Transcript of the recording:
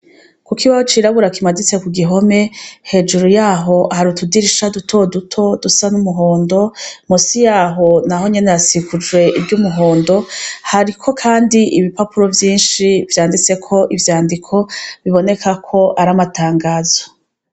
Kukibaho c’irabura kimaditse kugihome hejuru yaho hari utudirisha duto duto dusa n’umuhondo, munsi yaho naho nyene hasikujwe hariko kandi ibipapuro vyinshi vyanditseko ivyandiko biboneka ko ari amatangazo.